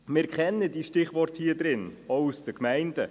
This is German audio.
Wir kennen diese Stichworte auch aus den Gemeinden.